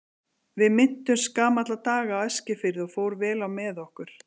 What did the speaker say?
Við minntumst gamalla daga á Eskifirði og fór vel á með okkur.